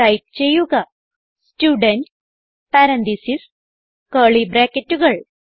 type ചെയ്യുക student parenthesis curly ബ്രാക്കറ്റുകൾ